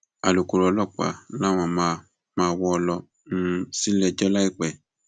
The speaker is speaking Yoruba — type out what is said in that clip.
alūkkóró ọlọpàá làwọn máa máa wọ ọ lọ um síléẹjọ láìpẹ